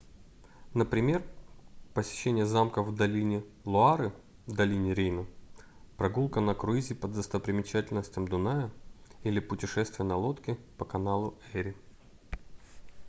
например посещение замков в долине луары долине рейна прогулка на круизе по достопримечательностям дуная или путешествие на лодке по каналу эри